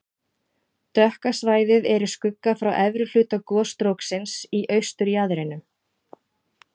Dökka svæðið er í skugga frá efri hluta gosstróksins í austurjaðrinum.